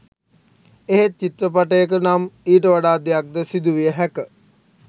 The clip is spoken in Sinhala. එහෙත් චිත්‍රපටයක නම් ඊට වඩා දෙයක් ද සිදුවිය හැක